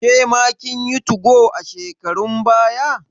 Kema kin yi 2go a shekarun baya?